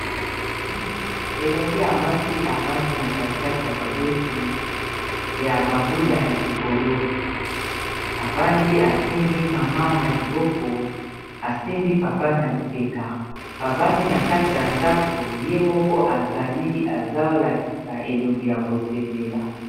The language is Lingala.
Elenge ya mwasi avandi na kati kati ya baboti ya bambula ya likolo avandi asimbi mama na liboko asimbi papa na lipeka bavandi na kati ya ndako ye moko azali azolakisa elongi ya ko sepela.